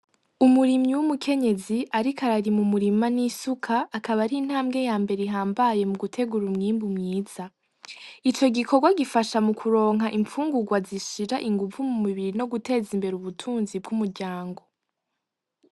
Umurimyi w'umukenyezi ariko ararima umurima n'isuka, akaba ari intambwe yambere ihambaye mugutegur'umwimbu mwiza. Icogikorwa gifasha mukoronka imfungurwa zishira inguvu mu mubiri nogutez'imbere ubutunzi bw'umuryango.